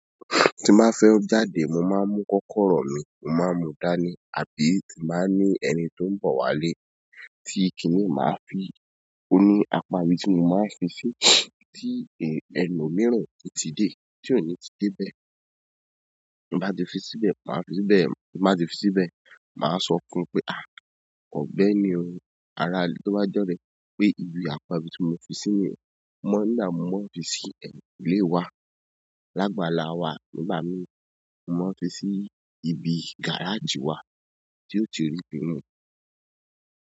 Tí má fẹ́ jáde mo máa ń mú kọ́kọ́rọ́ mi, mo máa ń mú dání àbí tí máa ń ní ẹni tó ń bọ̀ wá lé tí kí n máa fi òní apá ibi tí mo máa ń fi sí tí ẹlu mìíràn tí ti dé tí òní ti dé bẹ́ẹ̀. Bí bá ti fi síbẹ̀, máa fi síbẹ̀, bí bá ti fi síbẹ̀, màá sọ kún un pé, ọ̀gbẹ́ni o, ara ilé tó bá jọ́rẹ̀ pé ibi apá ibi tí mo fi sí ní, mọ́ nílà tí mo fi sí ẹ̀mí ilé wa. Lágbàlá wa nígbà mí, mo fi sí ibi gáràjì wa tí ó ti rí bíi mu.